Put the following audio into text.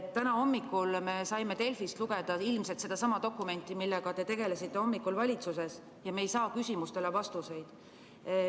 Täna hommikul me saime Delfist lugeda ilmselt sedasama dokumenti, millega te tegelesite hommikul valitsuses, ja me ei saa küsimustele vastuseid.